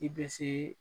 I bɛ se